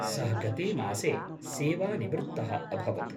सः गते मासे सेवानिवृत्तः अभवत्।